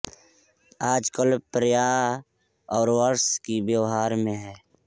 आजकल प्राय सौर वर्ष ही व्यवहार में है